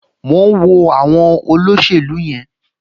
Mò ń wo àwọn olóṣèlú yẹn